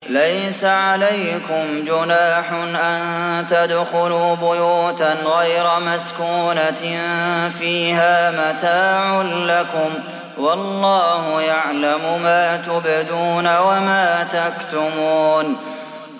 لَّيْسَ عَلَيْكُمْ جُنَاحٌ أَن تَدْخُلُوا بُيُوتًا غَيْرَ مَسْكُونَةٍ فِيهَا مَتَاعٌ لَّكُمْ ۚ وَاللَّهُ يَعْلَمُ مَا تُبْدُونَ وَمَا تَكْتُمُونَ